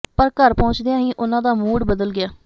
ਪਰ ਘਰ ਪਹੁੰਚਦਿਆਂ ਹੀ ਉਨ੍ਹਾਂ ਦਾ ਮੂਡ ਬਦਲ ਗਿਆ